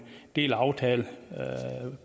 del af aftalen